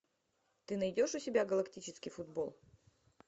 ты найдешь у себя галактический футбол